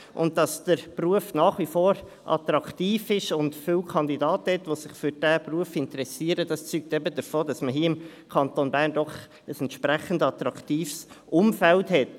Dass der Beruf nach wie vor attraktiv ist und es viele Kandidaten gibt, die sich für diesen Beruf interessieren, zeugt davon, dass man im Kanton Bern ein attraktives Umfeld hat.